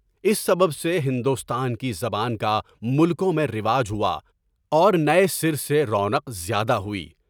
اس سبب سے ہندوستان کی زبان کا ملکوں میں رواج ہوا اور نئے سر سے رونق زیادہ ہوگی۔